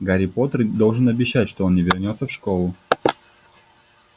гарри поттер должен обещать что он не вернётся в школу